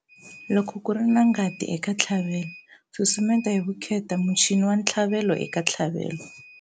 Loko ku ri na ngati eka ntlhavelo, susumeta hi vukheta muchini wa ntlhavelo eka ntlhavelo.